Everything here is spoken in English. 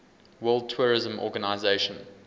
world tourism organization